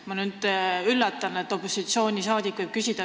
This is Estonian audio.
Ma nüüd üllatan, et opositsioonisaadik võib sellist asja küsida.